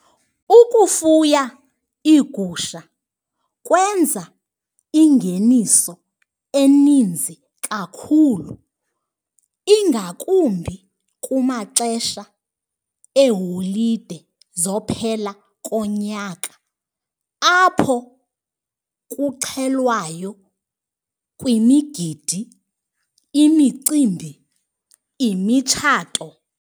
Ukufuya iigusha kwenza ingeniso eninzi kakhulu, ingakumbi kumaxesha eeholide zophela konyaka apho kuxhelwayo kwimigidi, imicimbi, imitshato.